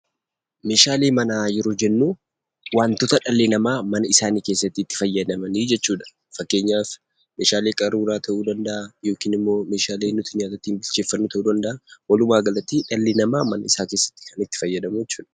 Meeshaalee mannaa yeroo jennu waantoota dhali nama mana keeessatti itti faayadamni jechuudha. Faakkeenyaaf meeshaalee qaruuraa ta'u danda'a yookiin immoo meeshaalee nuuy ittin nyaata bipcheefanuu ta'u danda'a. Walumagaalatti dhali nama mana isaa keessatti kan itti faayadamuu jechuudha.